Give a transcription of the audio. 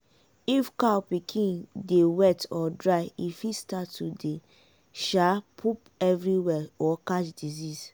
if cow pikin dey wet or dry e fit start to dey um poop everywhere or catch disease.